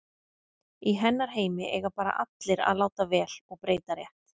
Í hennar heimi eiga bara allir að láta vel og breyta rétt.